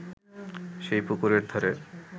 সেই পুকুরের ধারে